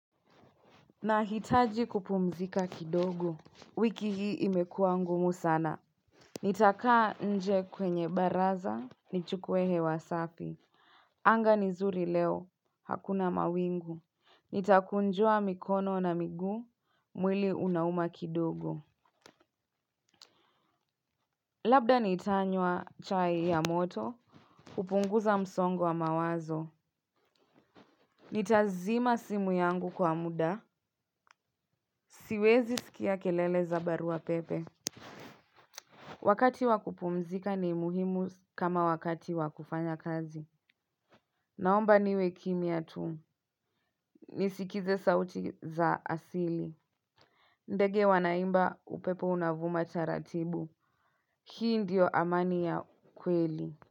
Nahitaji kupumzika kidogo, wiki hii imekua ngumu sana. Nitakaa nje kwenye baraza, nichukue hewa safi. Anga ni zuri leo, hakuna mawingu. Nitakunjua mikono na miguu, mwili unauma kidogo. Labda nitaanywa chai ya moto, hupunguza msongo wa mawazo. Nitazima simu yangu kwa muda, siwezi skia kelele za barua pepe. Wakati wakupumzika ni muhimu kama wakati wakufanya kazi. Naomba niwe kimya tu. Nisikize sauti za asili. Ndege wanaimba upepo unavuma c taratibu. Hii ndio amani ya kweli.